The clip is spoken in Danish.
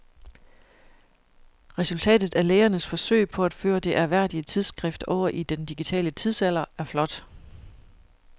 Resultatet af lægernes forsøg på at føre det ærværdige tidsskrift over i den digitale tidsalder er flot.